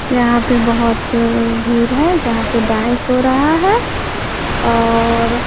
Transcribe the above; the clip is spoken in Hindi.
यहां पे बहोत भीर है जहां पे डांस हो रहा है और--